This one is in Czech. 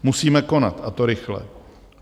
Musíme konat, a to rychle.